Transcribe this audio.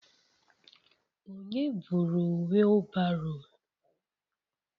Onye buru wheelbarrow?